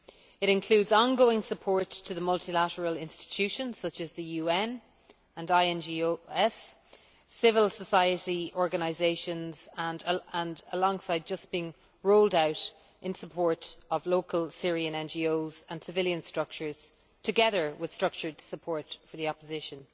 It includes ongoing support to the multilateral institutions such as the UN and INGOs and civil society organisations, alongside just being rolled out support of local Syrian NGOs and civilian structures together with structured support for the opposition.